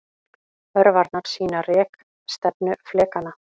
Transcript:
Örvarnar sýna rekstefnu flekanna.